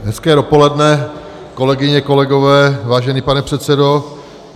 Hezké dopoledne, kolegyně, kolegové, vážený pane předsedo.